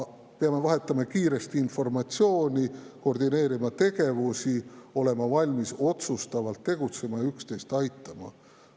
Peame vahetama kiiresti informatsiooni, koordineerima tegevusi, olema valmis otsustavalt tegutsema ja üksteist aitama.